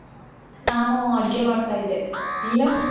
ನಾನು ಅಡ್ಗೆ ಮಾಡ್ತಾ ಇದ್ದೆ. ನೀನು?